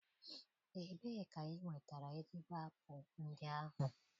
Ebee ka ị nwetara ezigbo apụl ndị ahụ?